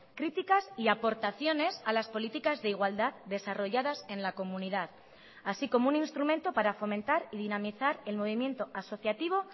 críticas y aportaciones a las políticas de igualdad desarrolladas en la comunidad así como un instrumento para fomentar y dinamizar el movimiento asociativo